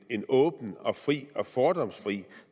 en åben og fri og fordomsfri